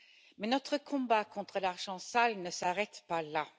Mais notre combat contre l'argent sale ne s'arrête pas là.